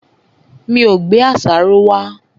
Mi ò gbé àṣàrò wá.